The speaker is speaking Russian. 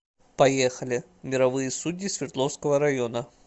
поехали мировые судьи свердловского района